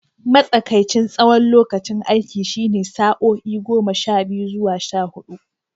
Matsakaicin tsawon lokacin aiki shine sa'o'i goma sha biyu zuwa sha hudu.